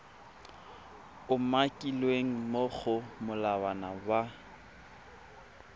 umakilweng mo go molawana wa